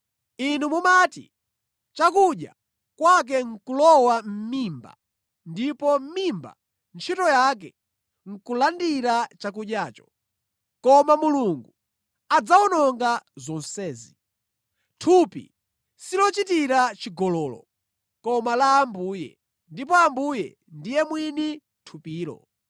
Inu mumati, “Chakudya, kwake nʼkulowa mʼmimba ndipo mimba ntchito yake nʼkulandira chakudyacho.” Koma Mulungu adzawononga zonsezi. Thupi silochitira chigololo, koma la Ambuye, ndipo Ambuye ndiye mwini thupilo.